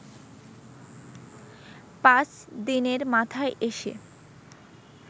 পাঁচ দিনের মাথায় এসে